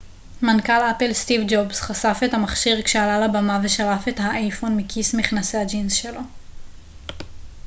מנכ ל אפל סטיב ג'ובס חשף את המכשיר כשעלה לבמה ושלף את האייפון מכיס מכנסי הג'ינס שלו